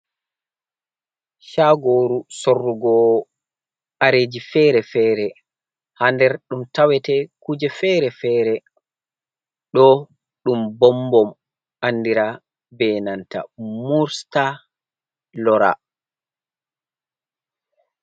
Shaagoru sorrugo kareeji fere-fereha. Ha nder ɗum tawete kuje fere-fere. Ɗo ɗum bom-bom andira be nanta mursta lora.